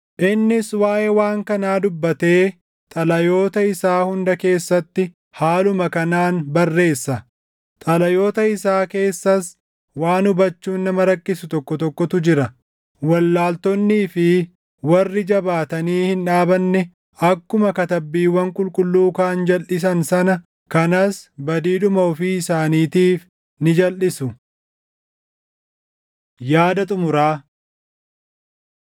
Innis waaʼee waan kanaa dubbatee xalayoota isaa hunda keessatti haaluma kanaan barreessa. Xalayoota isaa keessas waan hubachuun nama rakkisu tokko tokkotu jira; wallaaltonnii fi warri jabaatanii hin dhaabanne akkuma Katabbiiwwan Qulqulluu kaan jalʼisan sana kanas badiidhuma ofii isaaniitiif ni jalʼisu. Yaada Xumuraa